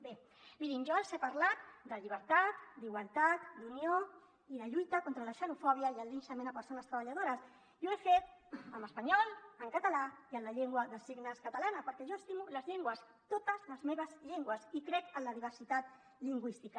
bé mirin jo els he parlat de llibertat d’igualtat d’unió i de lluita contra la xenofòbia i el linxament a persones treballadores i ho he fet en espanyol en català i en la llengua de signes catalana perquè jo estimo les llengües totes les meves llengües i crec en la diversitat lingüística